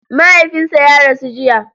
Mahaifinsa ya rasu jiya.